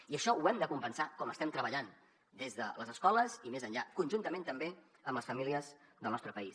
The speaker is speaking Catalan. i això ho hem de compensar com ho estem treballant des de les escoles i més enllà conjuntament també amb les famílies del nostre país